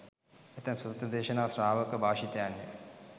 ඇතැම් සූත්‍ර දේශනා ශ්‍රාවක භාෂිතයන්ය.